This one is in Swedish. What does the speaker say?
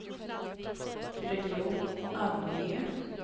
region, ange